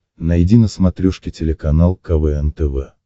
найди на смотрешке телеканал квн тв